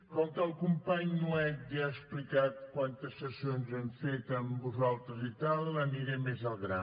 com que el company nuet ja ha explicat quantes sessions hem fet amb vosaltres i tal aniré més al gra